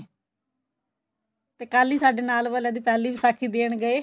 ਤੇ ਕੱਲ ਈ ਸਾਡੇ ਨਾਲ ਵਾਲਿਆ ਦੀ ਪਹਿਲੀ ਵਿਸਾਖੀ ਦੇਣ ਗਏ